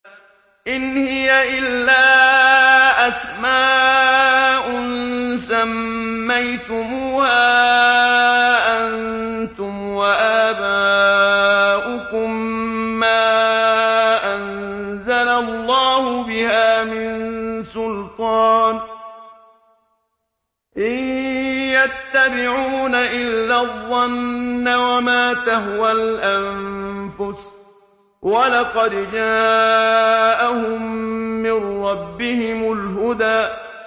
إِنْ هِيَ إِلَّا أَسْمَاءٌ سَمَّيْتُمُوهَا أَنتُمْ وَآبَاؤُكُم مَّا أَنزَلَ اللَّهُ بِهَا مِن سُلْطَانٍ ۚ إِن يَتَّبِعُونَ إِلَّا الظَّنَّ وَمَا تَهْوَى الْأَنفُسُ ۖ وَلَقَدْ جَاءَهُم مِّن رَّبِّهِمُ الْهُدَىٰ